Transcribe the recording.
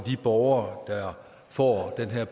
borgere der får den her